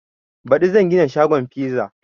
Baɗi zan gina shagon fiza